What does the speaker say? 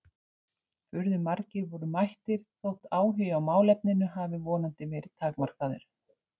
Furðu margir voru mættir þótt áhugi á málefninu hafi vonandi verið takmarkaður.